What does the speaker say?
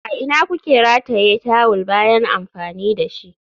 A ina kuke rataye tawul bayan amfani da shi?